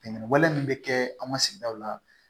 Ɲɛnɛn wale min bɛ kɛ an ka sigidaw la